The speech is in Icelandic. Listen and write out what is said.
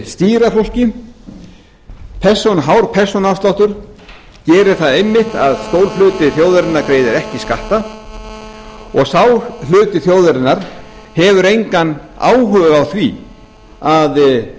stýra fólki svona hár persónuafsláttur gerir það einmitt að stór hluti þjóðarinnar greiðir ekki skatta og sá hluti þjóðarinnar hefur áhuga á því að